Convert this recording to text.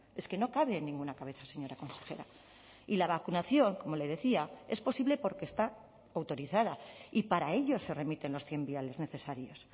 es que no cabe en ninguna cabeza señora consejera y la vacunación como le decía es posible porque está autorizada y para ello se remiten los cien viales necesarios